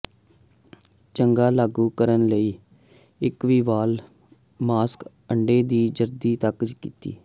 ਚੰਗਾ ਲਾਗੂ ਕਰਨ ਲਈ ਇੱਕ ਵੀ ਵਾਲ ਮਾਸਕ ਅੰਡੇ ਦੀ ਜ਼ਰਦੀ ਤੱਕ ਕੀਤੀ